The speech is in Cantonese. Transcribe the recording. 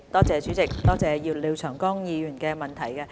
主席，多謝廖長江議員的補充質詢。